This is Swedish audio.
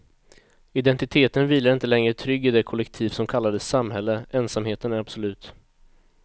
Identiteten vilar inte längre trygg i det kollektiv som kallades samhälle, ensamheten är absolut.